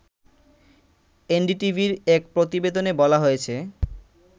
এনডিটিভির এক প্রতিবেদনে বলা হয়েছে